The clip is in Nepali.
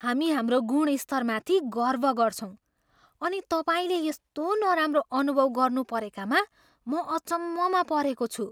हामी हाम्रो गुणस्तरमाथि गर्व गर्छौँ अनि तपाईँले यस्तो नराम्रो अनुभव गर्नुपरेकामा म अचम्ममा परेको छु।